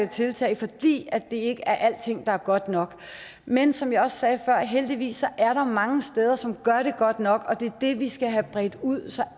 tiltag fordi det ikke er alting der er godt nok men som jeg også sagde før er der heldigvis mange steder som gør det godt nok og det er det vi skal have bredt ud så